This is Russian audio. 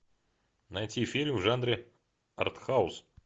найти фильм в жанре артхаус